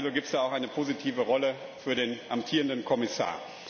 Also gibt es da auch eine positive Rolle für den amtierenden Kommissar.